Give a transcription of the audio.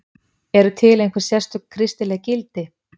Eru til einhver sérstök kristileg gildi?